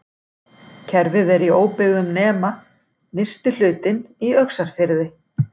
Kerfið er í óbyggðum nema nyrsti hlutinn í Öxarfirði.